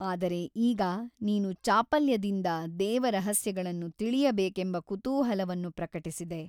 ಆದರೆ ಈಗ ನೀನು ಚಾಪಲ್ಯದಿಂದ ದೇವರಹಸ್ಯಗಳನ್ನು ತಿಳಿಯಬೇಕೆಂಬ ಕುತೂಹಲವನ್ನು ಪ್ರಕಟಿಸಿದೆ.